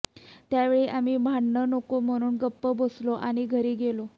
त्यावेळी आम्ही भांडण नको म्हणून गप्प बसलो आणि घरी गेलो